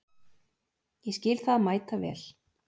Ég skil það mæta vel.